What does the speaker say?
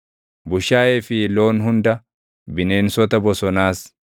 bushaayee fi loon hunda, bineensota bosonaas,